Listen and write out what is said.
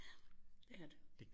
Ja det er det